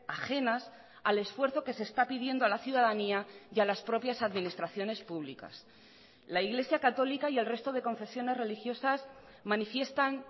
ajenas al esfuerzo que se está pidiendo a la ciudadanía y a las propias administraciones públicas la iglesia católica y el resto de confesiones religiosas manifiestan